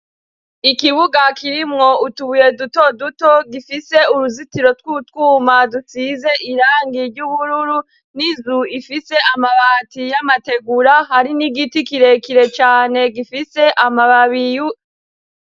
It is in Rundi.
Ikibuga kirimwo utubuye duto duto gifise uruzitiro tw'utwuma dutsize irangiye ry'ubururu n'izu ifise amabati y'amategura hari n'igiti kirekire cane gifise amababiyu.